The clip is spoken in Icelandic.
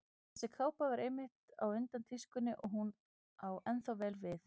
Þessi kápa var einmitt á undan tískunni og hún á ennþá vel við.